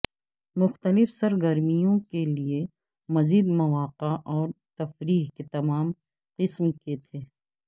مختلف سرگرمیوں کے لئے مزید مواقع اور تفریح کے تمام قسم کے تھے